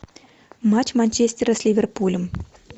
матч манчестера с ливерпулем